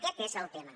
aquest és el tema